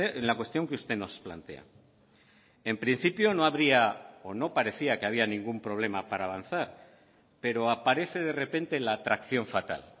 en la cuestión que usted nos plantea en principio no habría o no parecía que había ningún problema para avanzar pero aparece de repente la atracción fatal